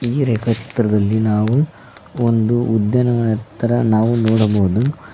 ಈ ರೇಖಾ ಚಿತ್ರದಲ್ಲಿ ನಾವು ಒಂದು ಉದ್ಯಾನವನ ತರ ನೋಡಬಹುದು.